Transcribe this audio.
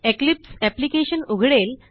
Eclipse application उघडेल